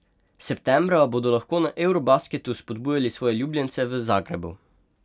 Septembra bodo lahko na eurobasketu spodbujali svoje ljubljence v Zagrebu.